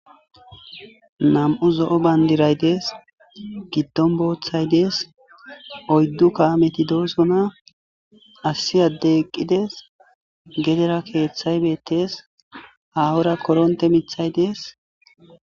Nam'u zo'o bandiray dees gidon boothay dees oydu kameti dosona issi adey eqides gedera kethay betes hahora koronte mithay dees